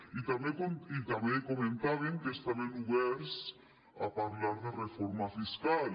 i també comentaven que estaven oberts a parlar de reforma fiscal